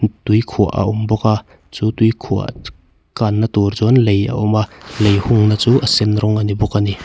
tuikhuah a awm bawk a chu tuikhuah kanna tur chuan lei a awm a lei hungna chu a sen rawng a ni bawk a ni.